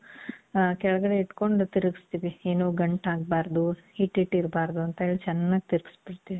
ಕೆಳಗಡೆ ಇಟ್ಕೊಂಡು ತಿರ್ಗಿಸ್ತೀವಿ ಏನು ಗಂಟ್ ಆಗಬಾರದು, ಹಿಟ್ ಹಿಟ್ ಇರ್ಬಾರ್ದು ಅಂತೇಳಿ ಚೆನ್ನಾಗ್ ತಿರಿಗಿಸ್ಬಿಡ್ತೀವಿ.